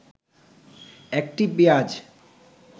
১টি পেঁয়াজ